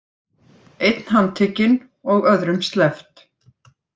Einn handtekinn og öðrum sleppt